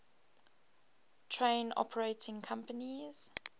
train operating companies